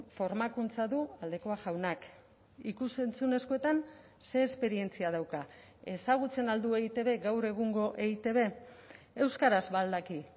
formakuntza du aldekoa jaunak ikus entzunezkoetan ze esperientzia dauka ezagutzen al du eitb gaur egungo eitb euskaraz ba al daki